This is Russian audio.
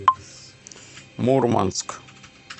мурманск